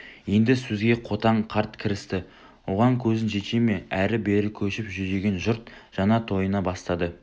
енді сөзге қотан қарт кірісті оған көзің жете ме әрі-бері көшіп жүдеген жұрт жаңа тойына бастады